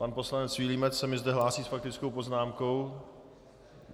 Pan poslanec Vilímec se mi zde hlásí s faktickou poznámkou?